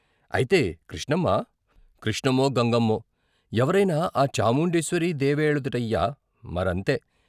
అయితే కృష్ణమ్మా కృష్ణమ్మో, గంగమ్మో ఎవరైనా ఆ చాముండేశ్వరీదేవేళదుటయ్యా, మరంతే.